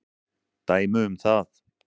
Dæmi um það